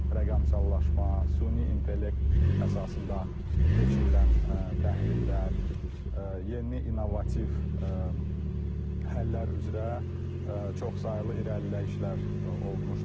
rəqəmsallaşma, süni intellekt əsasında keçirilən təhlillər, yeni innovativ həllər üzrə çoxsaylı irəliləyişlər olmuşdu.